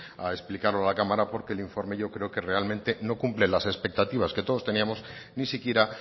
a explicarlo a la cámara porque el informe yo creo que no cumple las expectativas que todos teníamos ni siquiera